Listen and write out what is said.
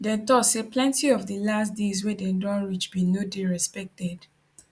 dem tok say plenti of di last deals wey dem don reach bin no dey respected